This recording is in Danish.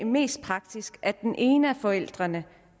mest praktisk at den ene af forældrene